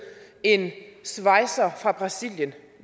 en svejser fra brasilien